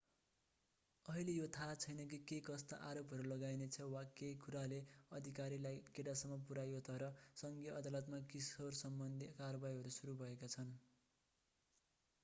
अहिले यो थाहा छैन कि केकस्ता आरोपहरू लगाइनेछ वा के कुराले अधिकारीलाई केटासम्म पुर्‍यायो तर सङ्घीय अदालतमा किशोरसम्बन्धी कारवाहीहरू सुरु भएका छन्।